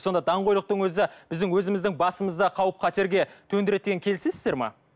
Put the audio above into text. сонда даңғойлықтың өзі біздің өзіміздің басымызды қауіп қатерге төндіреді деген келісесіздер ме